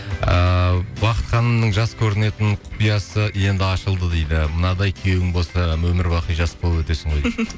ыыы бақыт ханымның жас көрінетін құпиясы енді ашылды дейді мынадай күйеуің болса өмір бақи жас болып өтесің ғой дейді